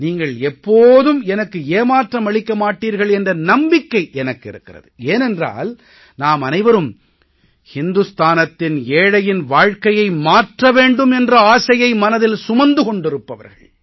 நீங்கள் எப்போதும் எனக்கு ஏமாற்றம் அளிக்க மாட்டீர்கள் என்ற நம்பிக்கை எனக்கு இருக்கிறது ஏனென்றால் நாம் அனைவரும் இந்துஸ்தானத்தின் ஏழையின் வாழ்க்கையை மாற்ற வேண்டும் என்ற ஆசையை மனதில் சுமந்து கொண்டிருப்பவர்கள்